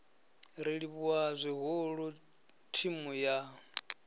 ri livhuwa zwihulu thimu ya